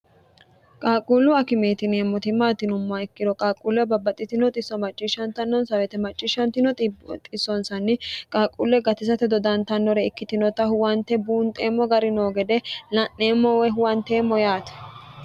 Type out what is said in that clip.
qaaqquullu akimeeti yineemmo timmaatinommo ikkiro qaaqquulle babbaxxitino isso macciishshnnnonsweete macciishshno snsn qaaqquulle gatisate dodantannore ikkitinota huwante buunxeemmo gari noo gede la'neemmowe huwanteemmo yaati